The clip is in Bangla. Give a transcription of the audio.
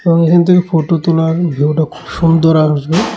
ফটো তোলার ভিউটা খুব সুন্দর আসবে।